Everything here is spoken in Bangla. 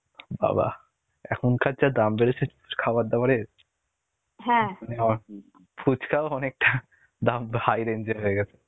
বাবাঃ এখনকার যা দাম বেড়েছে খাবার দাবারের. ফুচকাও অনেকটা দাম high range এর হয়ে গেছে.